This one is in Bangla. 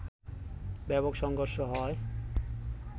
ব্যাপক সংঘর্ষ হয়